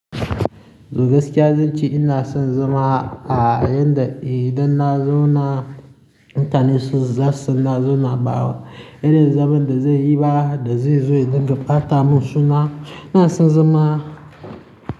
Eh gaskiya zan ce ina son zama a yadda idan na zo na, mutane su zasu san na zo na bawa. Irin zaman da zai yi ba, da zai zo ya dinga ɓata mun suna. Ina son zama.